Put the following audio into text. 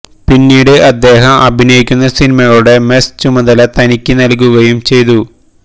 പിന്നീട് അദ്ദേഹം അഭിനയിക്കുന്ന സിനിമകളുടെ മെസ് ചുമതല തനിക്ക് നല്കുകയും ചെയ്തു